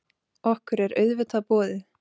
Okkur er auðvitað boðið.